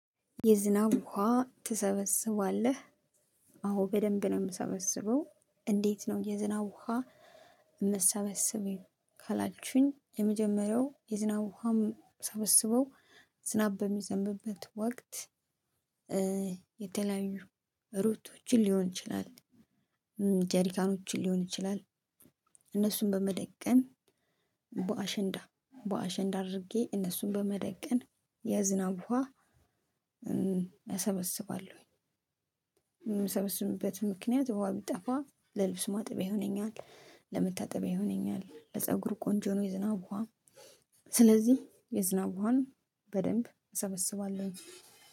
የዝናብ ውሃ ትሰበስባለህ። አዎ በደንብ ነው የምሰበስበው። እንዴት ነው የዝናብ ውሃ የምትሰበስቢው? ካላችሁኝ የመጀመሪያው የዝናብ ውሃ ምሰበስበው ዝናብ በሚዘንብበት ወቅት። የተለያዩ ሩቶችን ሊሆን ይችላል። ጀሪካኖችን ሊሆን ይችላል። እነሱን በመደቀን በአሸንዳ አድርጌ እነሱን በመደቀን የዝናብ ውሃ እሰበስባለሁኝ። የምሰበስብበት ምክንያት በውሃ የቢጠፋ ለልብስ ማጥበይ ሆነኛል ለመታጠቢያ ይሆነኛል ለፀጉር ቆንጆ ነው የዝናብ ውሃ። ስለዚህ የዝናብ ውሃን በደንብ እሰበስባለሁኝ።